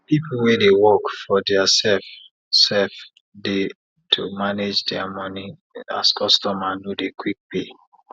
pipu wey dey work for dia sef sef dey to manage dia moni as customer no dey quick pay